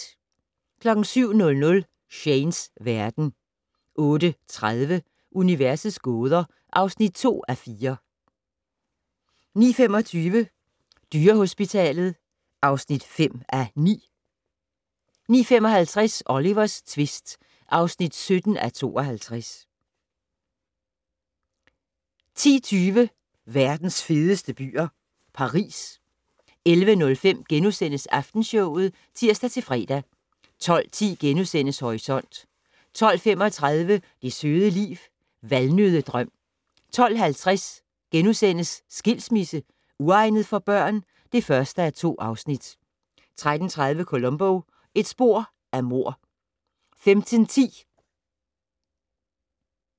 07:00: Shanes verden 08:30: Universets gåder (2:4) 09:25: Dyrehospitalet (5:9) 09:55: Olivers tvist (17:52) 10:20: Verdens fedeste byer - Paris 11:05: Aftenshowet *(tir-fre) 12:10: Horisont * 12:35: Det søde liv - Valnøddedrøm 12:50: Skilsmisse - uegnet for børn? (1:2)* 13:30: Columbo: Et spor af mord